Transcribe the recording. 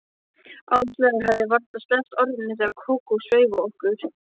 Áslaug hafði varla sleppt orðinu, þegar Kókó sveif á okkur.